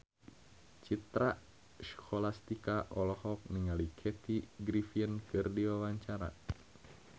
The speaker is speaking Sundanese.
Citra Scholastika olohok ningali Kathy Griffin keur diwawancara